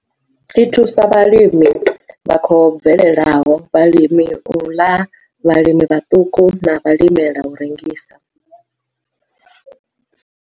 I thusa vhalimi vha khou bvelelaho, vhalimela u ḽa, vhalimi vhaṱuku na vhalimela u rengisa.